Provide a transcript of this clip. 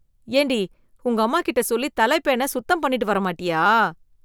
ஏண்டி, உங்கம்மா கிட்ட சொல்லி தலைப்பேனை சுத்தம் பண்ணிட்டு வர மாட்டியா?